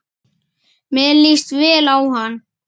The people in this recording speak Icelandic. Mér líst vel á hana.